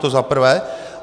To za prvé.